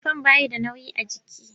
Shifon ba shi da nauyi a jiki.